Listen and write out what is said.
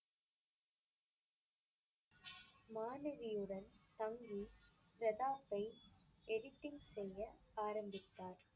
மாணவியுடன் தங்கி பிரதாப்பை editing செய்ய ஆரம்பித்தார்.